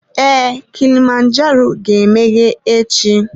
Ee, kilimanjaro ga-emeghe echi.